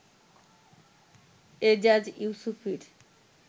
Ejaz ইউসুফীর